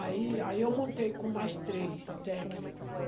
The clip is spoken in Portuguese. Aí eu montei com mais três técnico.